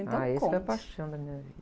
Então conte.h, esse foi a paixão da minha vida.